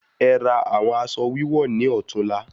E ra awon aṣọ wíwọ̀ni ọtún la